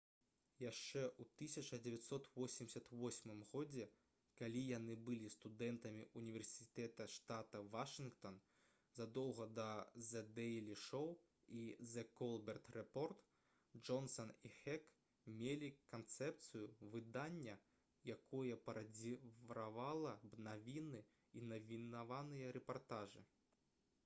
яшчэ ў 1988 годзе калі яны былі студэнтамі ўніверсітэта штата вашынгтон задоўга да «зэ дэйлі шоу» і «зэ колберт рэпорт» джонсан і хек мелі канцэпцыю выдання якое парадзіравала б навіны і навінавыя рэпартажы